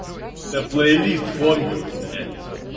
да плейлист фанковый бля